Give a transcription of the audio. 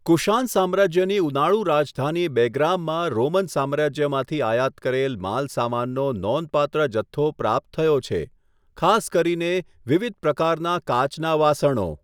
કુશાન સામ્રાજ્યની ઉનાળું રાજધાની બેગ્રામમાં રોમન સામ્રાજ્યમાંથી આયાત કરેલ માલસામાનનો નોંધપાત્ર જથ્થો પ્રાપ્ત થયો છે, ખાસ કરીને વિવિધ પ્રકારના કાચના વાસણો.